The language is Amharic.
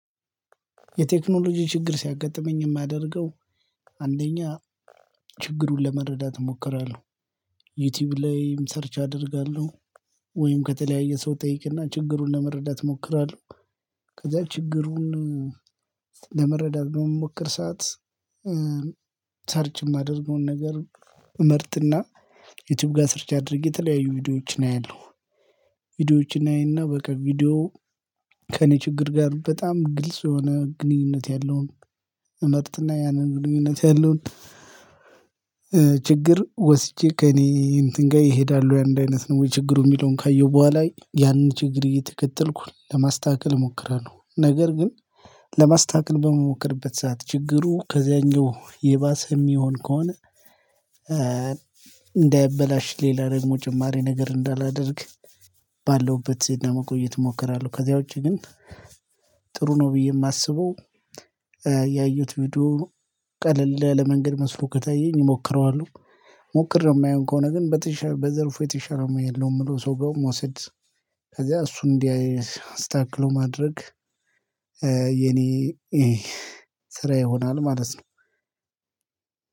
የቴክኖሎጂ ችግር ሲያጋጥመኝ የማያደርገው አንደኛ ችግሩን ለመረዳት እሞክራለሁ። ዩቲዩብ ላይም ሰርች አደርጋለሁ። ወይም ከተለያየ ሰው ጠይቅና ችግሩን ለመረዳት እሞክራለሁ። ከዛ ችግሩን ለመረዳት በምሞክር ሰዓት ሰርች የማደርገውን ነገር መርጥና ዩቲዩብ ጋር ሰርች አድርጌ የተለያዩ ቪዲዮዎች አያለው። ቪዲዮዎችን አይና በቃ ቪዲዮ ከእኔ ችግር ጋር በጣም ግልጽ የሆነ ግንኙነት ያለውን እመርጥና ያንን ግንኙነት ያለውን ችግር ወስጄ ከእኔ እንትን ጋር ይሄዳሉ ወይ አንድ አይነት ነው ወይ ችግሩ የሚለውን ካየሁ በኋላ ያንን ችግር እየተከተልኩ ለማስተካከል ሞክራለው። ነገር ግን ለማስተካከል በመሞከርበት ሰዓት ችግሩ ከዚያኛው የባሰ የሚሆን ከሆነ እንዳይበላሽ ሌላ ደግሞ ጭማሪ ነገር እንዳላደርግ ባለውበት ለመቆየት እሞክራለሁ። ከዚያ ውጪ ግን ጥሩ ነው ብዬ የማስበው። ያዩት ቪዲዮ ቀለል ያለ ለመንገድ መስሎ ከታየኝ እሞክረዋሁ ሞክሬው የማይሆን ከሆነ ግን በዘርፉ የተሻለ ሙያ የለው የምለው ሰው ጋር መውሰድ። ከዛ እሱን እንዲያይ አስተካክለው ማድረግ የኔ ስራ ይሆናል ማለት ነው።